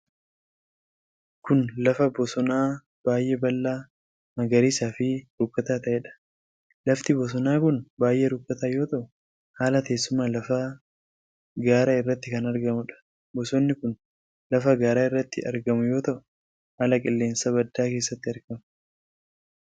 Kun, lafa bosonaa baay'ee bal'aa, magariisa fi rukkataa ta'ee dha. Lafti bosonaa kun baay'ee rukkataa yoo ta'u, haala teessuma lafaa gaara irratti kan argamuu dha. Bosonni kun, lafa gaara irratti argamuu yoo ta'u, haala qilleensaa baddaa keessatti argama.